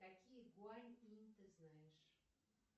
какие гуань инь ты знаешь